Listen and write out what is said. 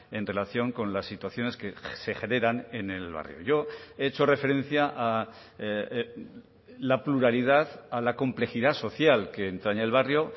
en relación con las situaciones que se generan en el barrio yo he hecho referencia a la pluralidad a la complejidad social que entraña el barrio